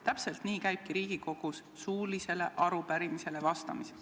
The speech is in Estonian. Täpselt nii käibki Riigikogus suulisele arupärimisele vastamine.